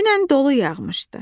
Dünən dolu yağmışdı.